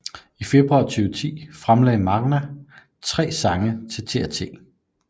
I februar 2010 fremlagte maNga tre sange til TRT